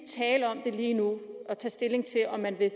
tale om det lige nu og tage stilling til om man vil